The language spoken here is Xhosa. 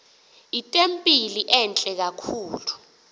itempile entle kakhulu